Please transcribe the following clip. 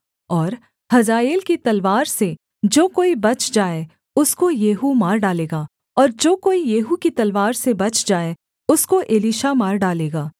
और हजाएल की तलवार से जो कोई बच जाए उसको येहू मार डालेगा और जो कोई येहू की तलवार से बच जाए उसको एलीशा मार डालेगा